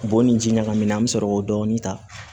Bɔn ni ji ɲagamina an bɛ sɔrɔ k'o dɔɔnin ta